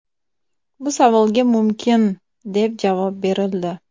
Bu savolga mumkin, deb javob berildi.